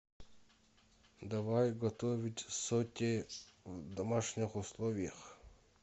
давай готовить соте в домашних условиях